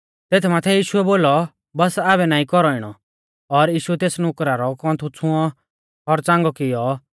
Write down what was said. तेथ माथै यीशुऐ बोलौ बस आबै नाईं कौरौ इणौ और यीशुऐ तेस नुकरा रौ कौन्थु छ़ुंऔ और च़ांगौ कियौ